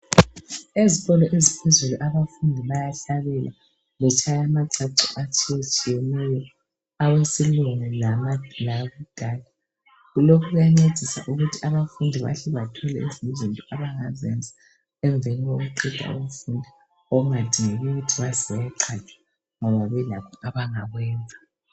Ezikolo eziphezulu abafundi bayahlabela betshaya amachacho atshiyetshiyeneyo awesilungu lawakudala. Lokhu kuyancedisa ukuthi abafundi bahle bathole ezinye izinto abangazenza emveni kokuqeda ukufunda okungadingi ukuthi baze bayeqhatshwa ngoba belakho abangakwenza.